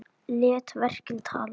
Lét verkin tala.